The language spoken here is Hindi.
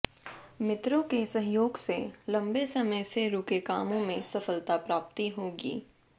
मित्रों के सहयोग से लम्बे समय से रूके कामों में सफलता प्राप्ति होगी